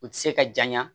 U tɛ se ka janya